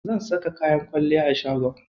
Zan saka kayan kwalliya a shagon.